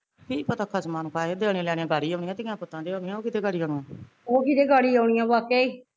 ਕੀ ਪਤਾ ਖਸਮਾਂ ਨੂੰ ਖਾਏ ਦੇਣੇ ਲੈਣੇਦਾਰੀ ਆਪਣੇ ਧੀਆ ਪੁੱਤਾਂ ਦੇ ਹੋਣੀਆ ਓਹ ਕਿਤੇ ਗਾੜੀ ਹੁਣ